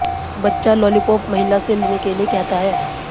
बच्चा लॉलीपॉप महिला से लेने के लिए कहता है